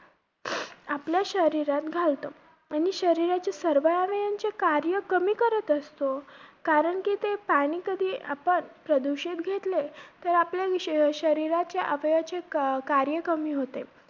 आपल्या शरीरात घालतो. आणि शरीराची सर्व अवयवांची कार्य कमी करत असतो. कारण कि ते पाणी कधी आपण प्रदूषित घेतले, तर आपल्या शरी~ शरीराच्या अवयवाचे का~ कार्य कमी होते.